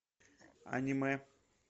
аниме